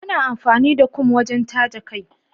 Ana amfani da kum wajen taje kai.